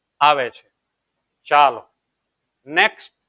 આવે છે ચાલો next